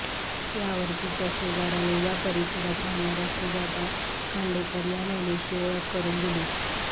यावर तिच्या शेजार्याने या परिसरात राहणार्या सुजाता खांडेकर या महिलेशी ओळख करून दिली